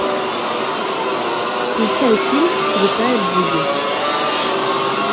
включай фильм святая джуди